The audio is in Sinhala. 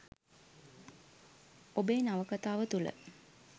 ඔබේ නවකතාව තුළ